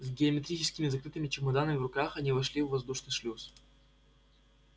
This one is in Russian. с геометрическими закрытыми чемоданами в руках они вошли в воздушный шлюз